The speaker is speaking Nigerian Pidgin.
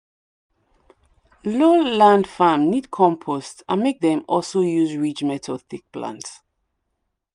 low land farm need compost and make dem also use ridge method take plant.